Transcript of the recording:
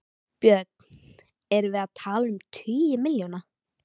Björn: Erum við að tala um tugi milljóna?